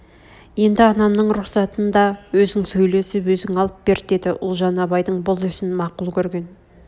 енді анамның рұқсатын да өзің сөйлесіп өзің алып бер деді ұлжан абайдың бұл ісін мақұл көрген